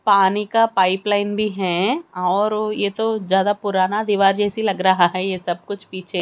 पानी का pipeline भी हैं और ओ ये तो ज्यादा पुराना दीवार जैसी लग रहा है ये सब कुछ पीछे--